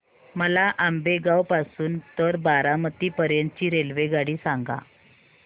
मला आंबेगाव पासून तर बारामती पर्यंत ची रेल्वेगाडी सांगा